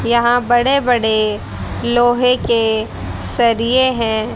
यहां बड़े-बड़े लोहे के सरिए हैं।